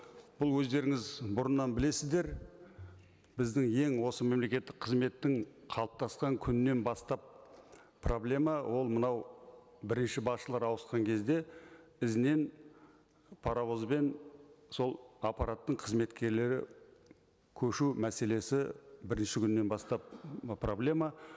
бұл өздеріңіз бұрыннан білесіздер біздің ең осы мемлекеттік қызметтің қалыптасқан күнінен бастап проблема ол мынау бірінші басшылары ауысқан кезде ізінен паровозбен сол аппараттың қызметкерлері көшу мәселесі бірінші күннен бастап ы проблема